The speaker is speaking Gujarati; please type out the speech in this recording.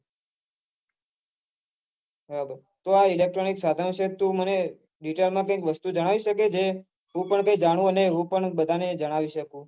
આ electronic સાઘનો થી તું મને detail માં કઈ વસ્તુ જણાવી સકે છે મને હું પન તે જાણું હું પન બઘા ને જણાવી સકું